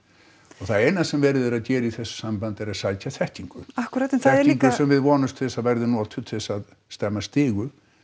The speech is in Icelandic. það eins sem verið er að gera í þessu sambandi er að sækja þekkingu þekkingu sem við vonumst til þess að verði notuð til þess að stemma stigu